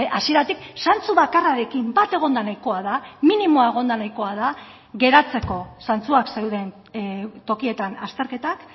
hasieratik zantzu bakarrarekin bat egonda nahikoa da minimoa egonda nahikoa da geratzeko zantzuak zeuden tokietan azterketak